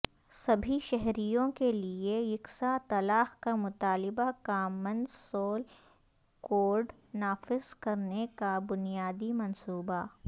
سبھی شہریوں کیلئے یکساں طلاق کا مطالبہ کامن سول کوڈ نافذ کرنے کا بنیادی منصوبہ